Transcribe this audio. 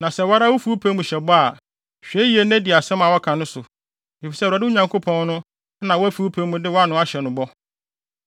Na sɛ wo ara wufi wo pɛ mu hyɛ bɔ a, hwɛ yiye na di asɛm a woaka no so, efisɛ Awurade, mo Nyankopɔn no, na woafi wo pɛ mu de wʼano ahyɛ no bɔ.